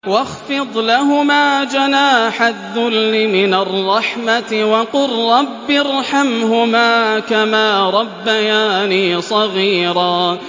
وَاخْفِضْ لَهُمَا جَنَاحَ الذُّلِّ مِنَ الرَّحْمَةِ وَقُل رَّبِّ ارْحَمْهُمَا كَمَا رَبَّيَانِي صَغِيرًا